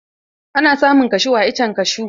Ana samun kashu a iccen kashu.